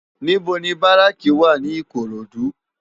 NIbò ni báráki wá ni Ikorodu?